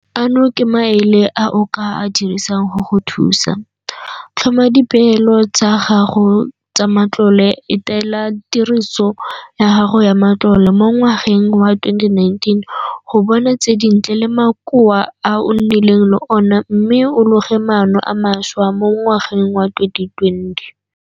Ano ke maele a o ka a dirisang go go thusa - Tlhoma dipeelo tsa gago tsa matlole etela tiriso ya gago ya matlole mo ngwageng wa 2019 go bona tse dintle le makoa a o nnileng le ona mme o loge maano a mašwa mo ngwageng wa 2020.